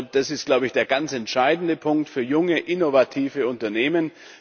Das ist, glaube ich, der ganz entscheidende Punkt für junge, innovative Unternehmen.